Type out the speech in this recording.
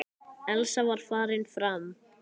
Elsa var farin fram.